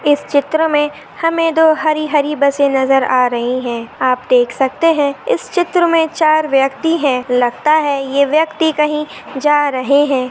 इस चित्र मे हमें दो हरी हरी बसे नजर आ रही है। आप देख सकते है। इस चित्र मे चार व्यक्ति है। लगता है ये व्यक्ति कही जा रहे है।